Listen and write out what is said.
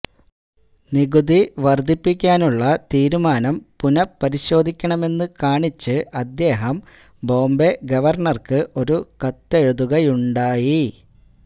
നികുതി വര്ധിപ്പിക്കാനുള്ള തീരുമാനം പുനപരിശോധിക്കണമെന്ന് കാണിച്ച് അദ്ദേഹം ബോംബെ ഗവര്ണര്ക്ക് ഒരു കത്തെഴുതുകയുമുണ്ടായി